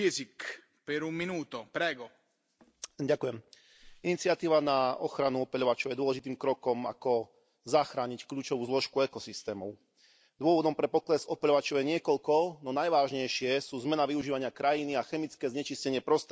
Vážený pán predsedajúci, iniciatíva na ochranu opeľovačov je dôležitým krokom ako zachrániť kľúčovú zložku ekosystémov. Dôvodom pre pokles opeľovačov je niekoľko, no najvážnejšie sú zmena využívania krajiny a chemické znečistenie prostredia.